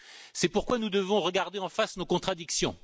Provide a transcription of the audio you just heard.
C'est pourquoi nous devons regarder en face nos contradictions.